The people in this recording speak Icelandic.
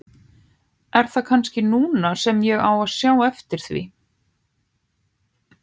Er það kannski núna sem ég á að sjá eftir því?